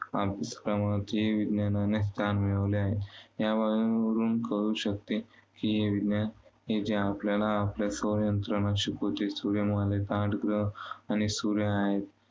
अभ्यासक्रमातही विज्ञानाने स्थान मिळवले आहे. यावरून वरून कळू शकते की हे विज्ञान हे जे आपल्याला आपल्या शिकवते. सूर्यमालेत आठ ग्रह आणि सूर्य आहे.